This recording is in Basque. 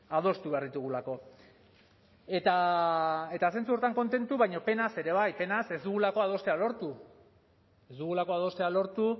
adostu behar ditugulako eta zentzu horretan kontentu baina penaz ere bai penaz ez dugulako adostea lortu ez dugulako adostea lortu